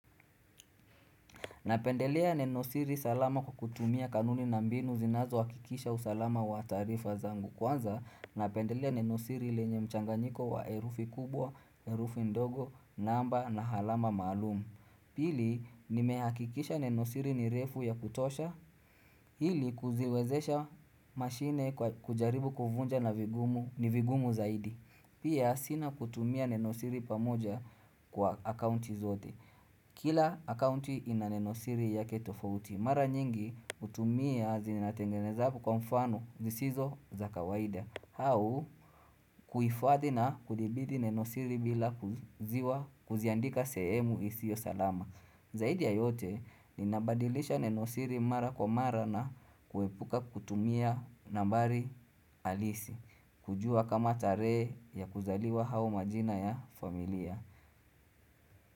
Napendelea nenosiri salama kwa kutumia kanuni na mbinu zinazohakikisha usalama wa taarifa zangu. Kwanza, napendelea nenosiri lenye mchanganyiko wa herufi kubwa, herufi ndogo, namba na alama maalumu. Pili, nimehakikisha nenosiri ni refu ya kutosha. Ili, kuziwezesha mashine kujaribu kuvunja na vigumu ni vigumu zaidi. Pia, sina kutumia nenosiri pamoja kwa akaunti zote. Kila akaunti ina nenosiri yake tofauti. Mara nyingi hutumia zinatengeneza kwa mfano zisizo za kawaida. Au kuifadhi na kudhibiti nenosiri bila kuziandika sehemu isiyo salama. Zaidi ya yote, ninabadilisha nenosiri mara kwa mara na kuepuka kutumia nambari halisi. Kujua kama tarehe ya kuzaliwa au majina ya familia.